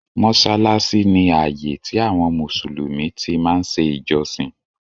Mọsálásí ni ààyè tí àwọn Mùsùlùmí tí máa ń ṣe ìjọsìn